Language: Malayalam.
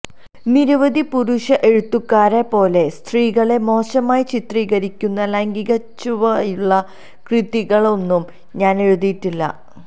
നിരവധി പുരുഷ എഴുത്തുകാരെ പോലെ സ്ത്രീകളെ മോശമായി ചിത്രീകരിക്കുന്ന ലൈംഗികച്ചുവയുള്ള കൃതികളൊന്നും ഞാന് എഴുതിയിട്ടില്ല